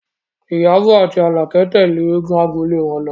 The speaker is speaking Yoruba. Ìyábọ̀ àti Àlàkẹ́ tẹ̀lé eégún agbolé wọn lọ